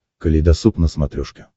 калейдосоп на смотрешке